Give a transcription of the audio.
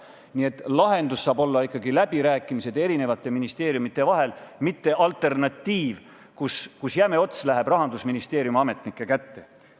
Nii et lahendus saab olla ikkagi läbirääkimised ministeeriumide vahel, mitte alternatiiv, kus jäme ots läheb Rahandusministeeriumi ametnike kätte.